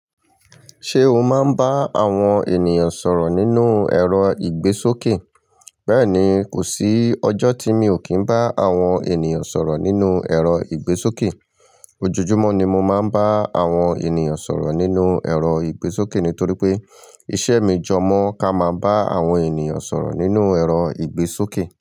Ṣé o máa ń bá àwọn ènìyàn sọ̀rọ̀ nínú ẹ̀rọ ìgbésókè? Bẹ́ẹ̀ni, kò sí ọjọ́ tí mi ò kí ń bá àwọn ènìyàn sọ̀rọ̀ nínú ẹ̀rọ ìgbésókè. Ojojúmọ́ ni mo máa ń bá àwọn ènìyàn sọ̀rọ̀ nínú ẹ̀rọ ìgbésókè nítorí pé iṣẹ́ mi jọ mọ́ ká máa bá àwọn ènìyàn sọ̀rọ̀ nínú ẹ̀rọ ìgbésókè.